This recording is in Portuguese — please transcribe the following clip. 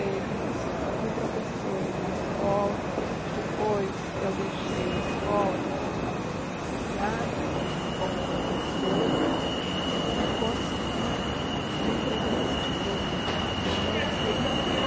Eu fui professora numa escola, depois eu deixei a escola porque estava sendo procurada como professora e consegui emprego numa editora como revisora.